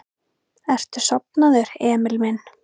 Ertu sofnaður, Emil minn?